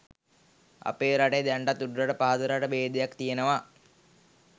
අපේ රටේ දැනටත් උඩරට පහතරට බේදයක් තියෙනවා.